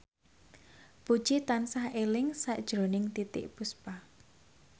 Puji tansah eling sakjroning Titiek Puspa